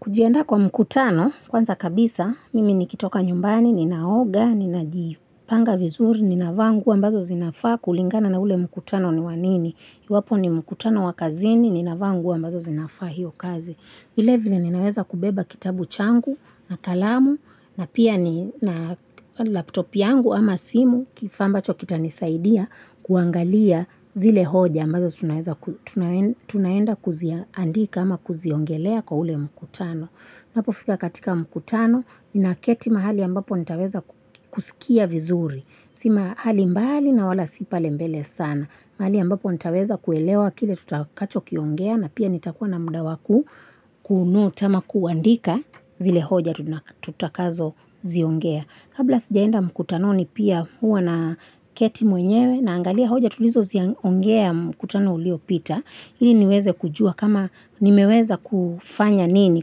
Kujienda kwa mkutano, kwanza kabisa, mimi ni kitoka nyumbani, ni naoga, ni naji panga vizuri, ni na vangu ambazo zinafaa kulingana na ule mkutano ni wanini. Iwapo ni mkutano wakazini, ni na vangu ambazo zinafaa hio kazi. Ile vile ninaweza kubeba kitabu changu na kalamu na pia na laptop yangu ama simu kifamba cho kita nisaidia kuangalia zile hoja ambazo tunaenda kuzia andika ama kuziongelea kwa ule mkutano. Napo fika katika mkutano ni na keti mahali ambapo nitaweza kusikia vizuri. Sima hali mbali na wala sipa lembele sana. Mahali ambapo nitaweza kuelewa kile tutakacho kiongea na pia nitakuwa na mudawaku kunu tama kuandika zile hoja tutakazo ziongea. Kabla sijaenda mkutano ni pia huwa na keti mwenyewe na angalia hoja tulizo ziongea mkutano ulio pita. Ili niweze kujua kama nimeweza kufanya nini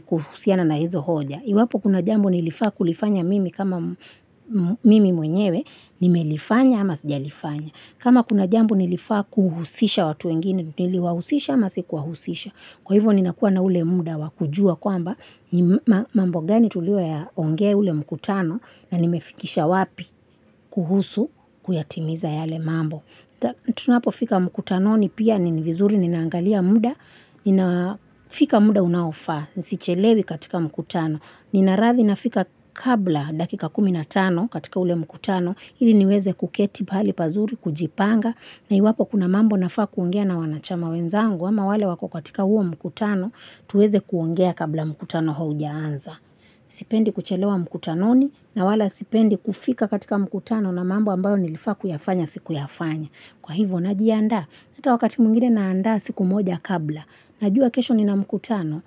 kusiana na hizo hoja. Iwapo kuna jambo nilifaa kulifanya mimi kama mimi mwenyewe nime lifanya ama sija lifanya. Kama kuna jambo nilifaa kuhusisha watu engini nili wahusisha ama si kuhusisha. Kwa hivyo ni nakuwa na ule muda wakujua kwamba mambo gani tuliwa ya ongea ule mkutano na nimefikisha wapi kuhusu kuyatimiza yale mambo. Tunapo fika mkutano ni pia ni vizuri ni naangalia muda, ninafika muda unaofa, nisichelewi katika mkutano. Ninarathi nafika kabla dakika kuminatano katika ule mkutano, hili niweze kuketi pali pazuri, kujipanga. Na iwapo kuna mambo nafaa kuongea na wanachama wenzangu ama wale wako katika huo mkutano tuweze kuongea kabla mkutano hojaanza. Sipendi kuchelewa mkutanoni na wala sipendi kufika katika mkutano na mambo ambayo nilifa kuyafanya siku yafanya. Kwa hivo najianda. Nata wakati mwingine naanda siku moja kabla. Najua kesho ni na mkutano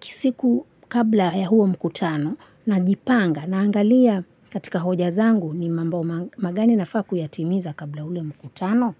siku kabla ya huo mkutano na jipanga naangalia katika hoja zangu ni mambo magani nafaa kuyatimiza kabla ule mkutano no.